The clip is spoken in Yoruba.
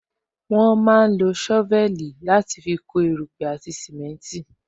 Wọn máa ń lo sovel láti fi kó erupe àti simenti